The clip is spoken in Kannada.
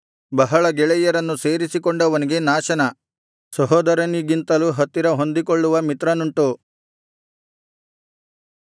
ಬಹಳ ಗೆಳೆಯರನ್ನು ಸೇರಿಸಿಕೊಂಡವನಿಗೆ ನಾಶನ ಸಹೋದರನಿಗಿಂತಲೂ ಹತ್ತಿರ ಹೊಂದಿಕೊಳ್ಳುವ ಮಿತ್ರನುಂಟು